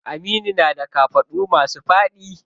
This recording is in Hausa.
Aminu na da kafaɗu masu faɗi.